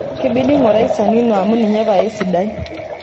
kibidi ngurai sanino amuu ninye pae sidai